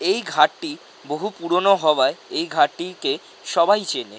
এই ঘাটটি বহু পুরোনো হওয়ায় এই ঘাটটিকে সবাই চেনে।